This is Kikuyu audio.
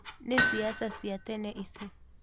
Ni siasa cia tene ici